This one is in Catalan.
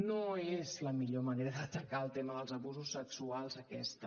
no és la millor manera d’atacar el tema dels abusos sexuals aquesta